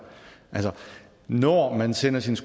når man sender sit